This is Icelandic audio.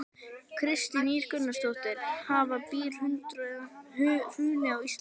Kristín Ýr Gunnarsdóttir: Hafa brýr hrunið á Íslandi?